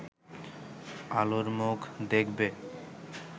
আলোর মুখ দেখবে